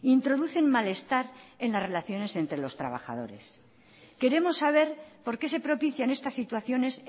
introducen malestar en las relaciones entre los trabajadores queremos saber por qué se propician estas situaciones